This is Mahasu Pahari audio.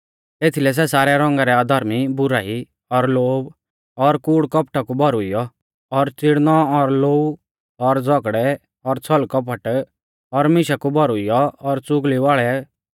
एथीलै सै सारै रौंगा रै अधर्मी बुराई और लोभ और कूड़कौपटा कु भौरुइऔ और चिड़नौ और लोऊ और झ़ौगड़ै और छलकपट और मीशा कु भौरुइऔ और चुगली वाल़ै